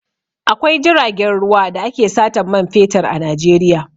Akwai jiragen ruwa da ake satan man fetur a Najeiya.